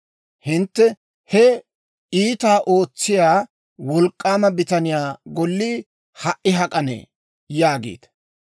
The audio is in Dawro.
Hintte, ‹He iitaa ootsiyaa, wolk'k'aama bitaniyaa Gollii ha"i hak'anee?› yaagiita.